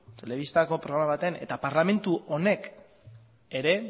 telebistako programa batean eta parlamentu honek ere